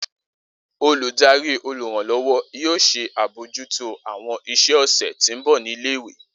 Oludari oluranlọwọ yoo ṣe abojuto awọn iṣẹ ọsẹ ti nbọ ni ile-iwe